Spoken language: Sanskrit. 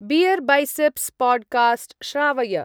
बियर्बैसेप्स् पाड्कास्ट् श्रावय।